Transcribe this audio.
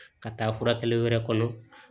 Ka taa furakɛli wɛrɛ kɔnɔ